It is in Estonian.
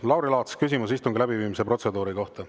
Lauri Laats, küsimus istungi läbiviimise protseduuri kohta.